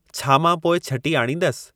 छा मां पोइ छ्टी आणींदसि